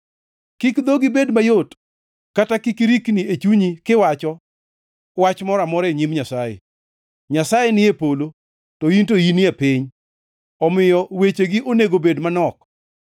Kik dhogi bed mayot kata kik irikni e chunyi kiwacho, wach moro amora e nyim Nyasaye. Nyasaye ni e polo to in to in e piny, omiyo wechegi onego bed manok.